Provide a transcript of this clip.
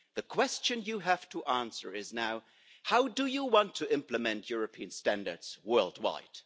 The question you have to answer is now how do you want to implement European standards worldwide?